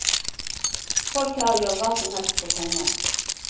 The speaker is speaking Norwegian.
Folk her gjør hva som helst for penger.